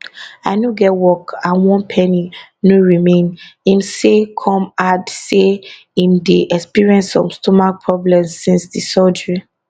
i no get work and one penny no remain im say come add say im dey experience some stomach problems since di surgery